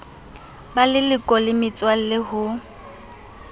ba leloko le metswalle ho